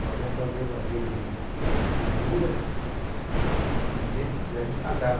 Nós fomos fazer uma vez um pendura e a gente pagava.